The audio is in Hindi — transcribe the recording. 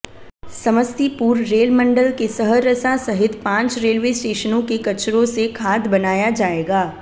समस्तीपुर रेल मंडल के सहरसा सहित पांच रेलवे स्टेशनों के कचरों से खाद बनाया जाएगा